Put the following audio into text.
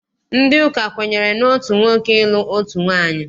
Ndị ụka kwenyere n'otu nwoke ịlụ otu nwaanyị.